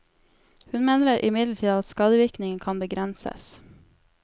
Hun mener imidlertid at skadevirkningene kan begrenses.